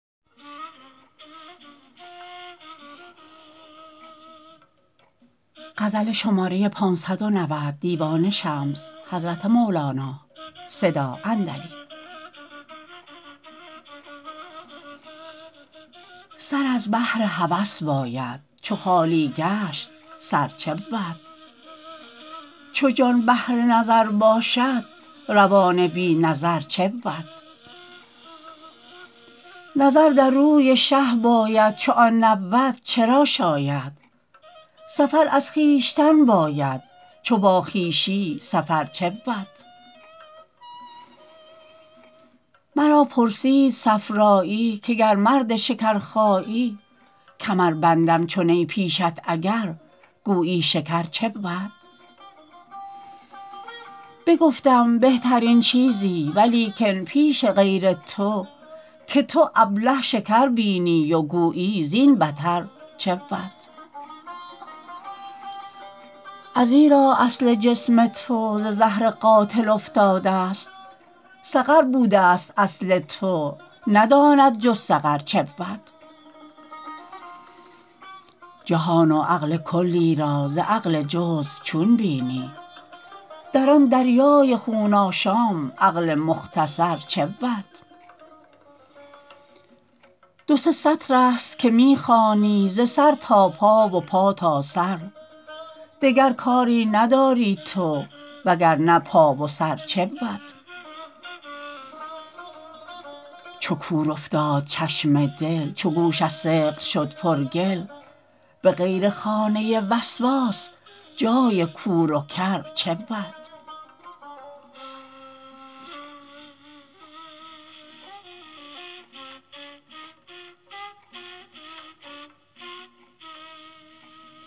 سر از بهر هوس باید چو خالی گشت سر چه بود چو جان بهر نظر باشد روان بی نظر چه بود نظر در روی شه باید چو آن نبود چه را شاید سفر از خویشتن باید چو با خویشی سفر چه بود مرا پرسید صفرایی که گر مرد شکرخایی کمر بندم چو نی پیشت اگر گویی شکر چه بود بگفتم بهترین چیزی ولیکن پیش غیر تو که تو ابله شکر بینی و گویی زین بتر چه بود ازیرا اصل جسم تو ز زهر قاتل افتادست سقر بودست اصل تو نداند جز سقر چه بود جهان و عقل کلی را ز عقل جزو چون بینی در آن دریای خون آشام عقل مختصر چه بود دو سه سطرست که می خوانی ز سر تا پا و پا تا سر دگر کاری نداری تو وگر نه پا و سر چه بود چو کور افتاد چشم دل چو گوش از ثقل شد پرگل به غیر خانه وسواس جای کور و کر چه بود